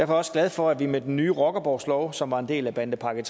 også glad for at vi med den nye rockerborgslov som var en del af bandepakke